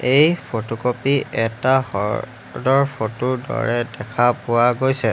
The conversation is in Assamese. এই ফটো ক'পি এটা হ্ৰদৰ ফটো ৰ দৰে দেখা পোৱা গৈছে।